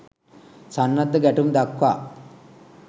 සන්නද්ධ ගැටුම් දක්වා